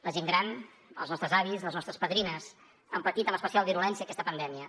la gent gran els nostres avis les nostres padrines han patit amb especial virulència aquesta pandèmia